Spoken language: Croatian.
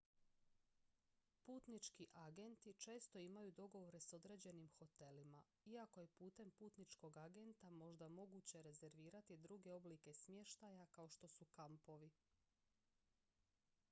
putnički agenti često imaju dogovore s određenim hotelima iako je putem putničkog agenta možda moguće rezervirati druge oblike smještaja kao što su kampovi